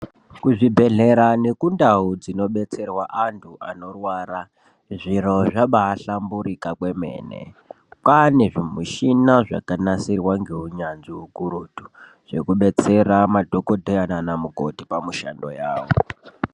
Kuzvibhehlera nekundau dzino betserwa antu anorwara zviro zvabai hlamburika kwemene kwanezvimushina zvakanasirwa ngeunyanzvi ukurutu zvikubetsera madhokodheya naMukoti pamushandoal yawo